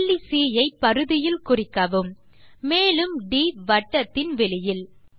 புள்ளி சி ஐ பரிதியில் குறிக்கவும் மேலும் ட் வட்டத்தின் வெளியில்